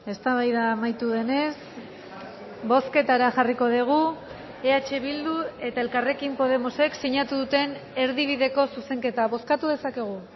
eztabaida amaitu denez bozketara jarriko dugu eh bildu eta elkarrekin podemosek sinatu duten erdibideko zuzenketa bozkatu dezakegu